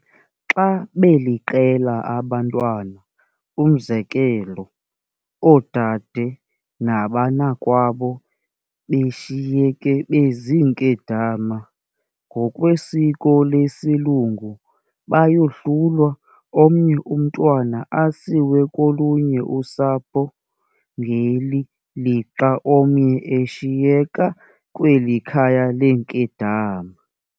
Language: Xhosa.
Xa beliqela abantwana, umzekelo, oodade nabanakwabo beshiyeke beziinkedama, ngokwesiko lesilungu bayohlulwa, omnye umntwana asiwe kolunye usapho, ngeli lixa omnye eshiyeka kweli khaya leenkedama.